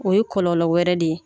O ye kɔlɔlɔ wɛrɛ de ye